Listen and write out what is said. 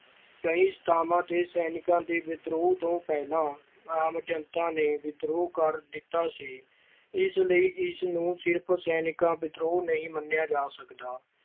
ਕਈ ਸਥਾਨਾਂ ਤੇ ਸੈਨਿਕਾਂ ਦੇ ਵਿਦਰੋਹ ਤੋਂ ਪਹਿਲਾਂ ਆਮ ਜਨਤਾ ਨੇ ਵਿਦਰੋਹ ਕਰ ਦਿੱਤਾ ਸੀ। ਇਸ ਲਈ ਇਸਨੂੰ ਸਿਰਫ਼ ਸੈਨਿਕ ਵਿਦਰੋਹ ਨਹੀਂ ਮੰਨਿਆ ਜਾ ਸਕਦਾ।